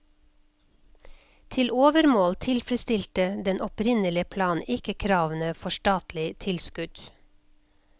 Til overmål tilfredsstilte den opprinnelige plan ikke kravene for statlig tilskudd.